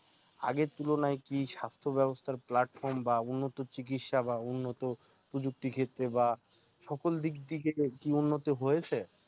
আগের তুলনায় কি স্বাস্থ্য ব্যবস্থার platfom বা উন্নত চিকিৎসা বা উন্নত প্রযুক্তি ক্ষেত্রে বা সকল দিক থেকে কি উন্নতি হয়েছে?